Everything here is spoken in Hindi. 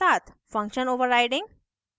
function overriding